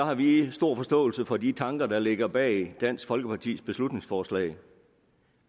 har vi stor forståelse for de tanker der ligger bag dansk folkepartis beslutningsforslag